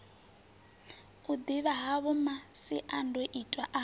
u ḓivha havho masiandoitwa a